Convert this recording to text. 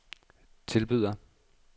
tilbyder